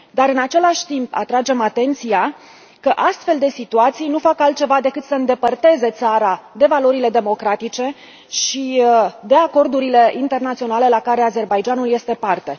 Dar, în același timp, atragem atenția că astfel de situații nu fac altceva decât să îndepărteze țara de valorile democratice și de acordurile internaționale la care Azerbaidjanul este parte.